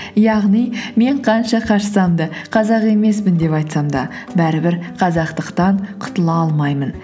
яғни мен қанша қашсам да қазақ емеспін деп айтсам да бәрібір қазақтықтан құтыла алмаймын